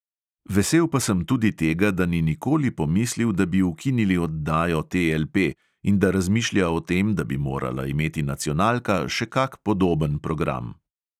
Vesel pa sem tudi tega, da ni nikoli pomislil, da bi ukinili oddajo TLP, in da razmišlja o tem, da bi morala imeti nacionalka še kak podoben program.